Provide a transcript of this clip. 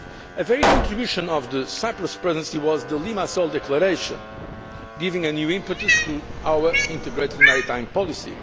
A very good contribution of the Cyprus Presidency was the Limassol Declaration, giving a new impetus to our integrated maritime policy.